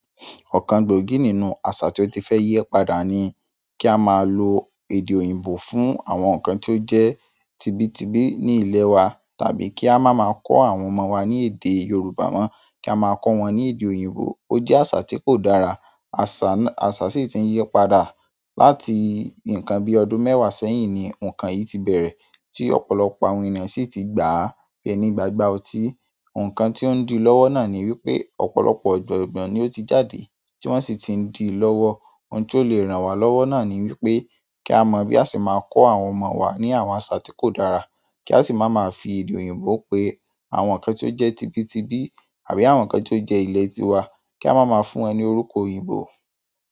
Ọ̀kan gbòógì nínú àṣà tí ó ti fẹ́ yí padà ni kí a máa lo èdè òyìnbó fún àwọn nǹkan tó jẹ́ tibitibi ní ilẹ̀ wa, tàbí kí a má máa kọ́ àwọn ọmọ wa ní èdè Yorùbá mọ́, kí a máa kọ́ wọn ní èdè òyìnbó. Ó jẹ́ àṣà tí kò dára. Àṣà náà, àṣà sì ti ń yí padà. Láti nkan bi ọdún mewa sẹ́yìn ni nkan yìí ti bere. Ti ọ̀pọ̀lọpọ̀ àwọn ènìyàn si ti gbaa bi ẹni gbagba oti. Nǹkàn tí o ń di lọ́wọ́ náà ni wípé ọ̀pọ̀lọpọ̀ ọ̀jogbọ̀n ni ó ti jáde tí wọ́n sì ti ń di lọ́wọ́. Ohun tí ó le ràn wá lọ́wọ́ náà ni wípé kí a mọ bí a ṣe máa kọ àwọn ọmọ wa ní àwọn àṣà tí kò dára, kí a sì má máa fi èdè òyìnbó pe àwọn ǹkan tí ó jẹ́ tibitibi àbí àwọn ǹkan tí ó jẹ́ ilẹ̀ ti wa, kí a má máa fún wọn ní orúkọ òyìnbó.